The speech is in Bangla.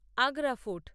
আগ্রা ফোর্ট